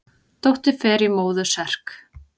Dóttir fer í móður serk.